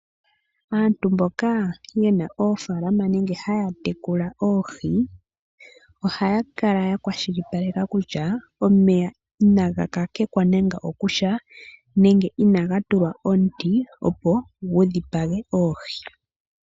Aantu mboka yena oofaalama nenge haya tekula oohi , ohaya kala yakwashilipaleka kutya omeya inaga kakekwa nando okosha nenge inaga tulwa omuti opo gudhipage oohi.